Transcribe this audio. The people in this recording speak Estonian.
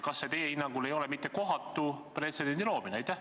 Kas see ei ole teie hinnangul kohatu pretsedendi loomine?